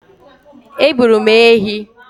Egburu m ehi.